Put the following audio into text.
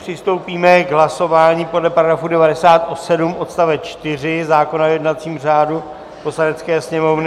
Přistoupíme k hlasování podle § 97 odst. 4 zákona o jednacím řádu Poslanecké sněmovny.